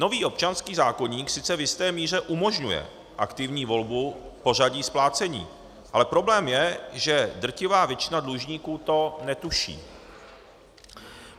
Nový občanský zákoník sice v jisté míře umožňuje aktivní volbu v pořadí splácení, ale problém je, že drtivá většina dlužníků to netuší.